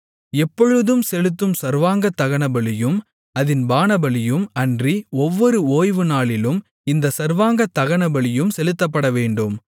எப்பொழுதும் செலுத்தும் சர்வாங்கதகனபலியும் அதின் பானபலியும் அன்றி ஒவ்வொரு ஓய்வுநாளிலும் இந்தச் சர்வாங்க தகனபலியும் செலுத்தப்படவேண்டும்